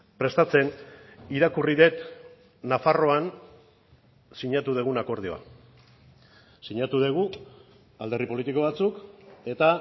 prestatzen irakurri dut nafarroan sinatu dugun akordioa sinatu dugu alderdi politiko batzuk eta